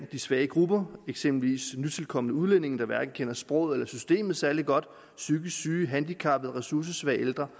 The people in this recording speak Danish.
de svage grupper eksempelvis nytilkomne udlændinge der hverken kender sproget eller systemet særlig godt psykisk syge handicappede og ressourcesvage ældre